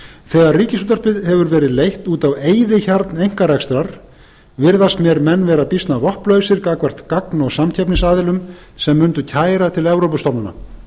þegar ríkisútvarpið hefur verið leitt út á eyðihjarn einkarekstrar virðast mér menn vera býsna vopnlausir gagnvart gagn og samkeppnisaðilum sem mundu kæra til evrópustofnana